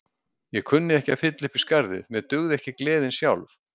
Ég kunni ekki að fylla upp í skarðið, mér dugði ekki gleðin sjálf.